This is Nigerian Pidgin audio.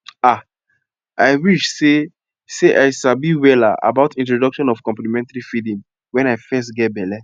ah i wish seh seh i sabi wella about introduction of complementary feeding when i fess geh belle